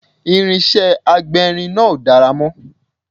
Irinṣẹ́ agbérin náà ò dára mọ́